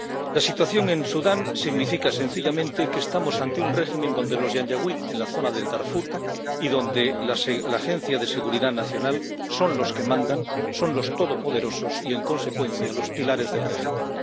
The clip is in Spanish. La situación en Sudán significa sencillamente que estamos ante un régimen donde los yanyauid en la zona del Darfur y la Agencia de Seguridad Nacional son los que mandan, son los todopoderosos y, en consecuencia, los pilares del régimen.